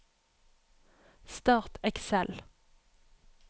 Start Excel